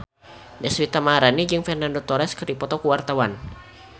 Deswita Maharani jeung Fernando Torres keur dipoto ku wartawan